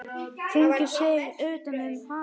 Hringar sig utan um hana.